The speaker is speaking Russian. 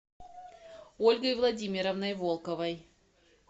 ольгой владимировной волковой